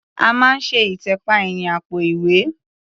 A máa ń ṣe ìtẹ̀pa ẹ̀yìn àpò-ìwẹ́.